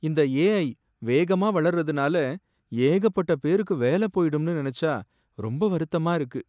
இந்த ஏஐ வேகமா வளர்றதுனால ஏகப்பட்ட பேருக்கு வேல போயிடும்னு நினைச்சா ரொம்ப வருத்தமா இருக்கு.